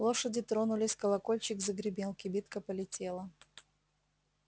лошади тронулись колокольчик загремел кибитка полетела